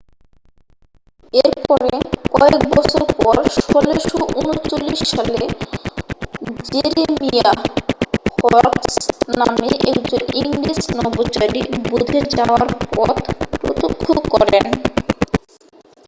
এরপরে কয়েক বছর পর 1639 সালে জেরেমিয়াহ হরকস নামে একজন ইংরেজ নভোচারী বুধে যাওয়ার পথ প্রত্যক্ষ করেন